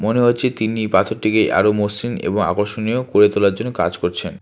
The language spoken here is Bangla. মনে হচ্ছে তিনি পাথরটিকে আরো মসৃণ এবং আকর্ষণীয় করে তোলার জন্য কাজ করছেন।